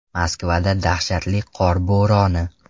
Moskvada dahshatli qor bo‘roni!